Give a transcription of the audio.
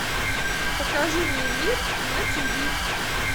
покажи мне мир на тв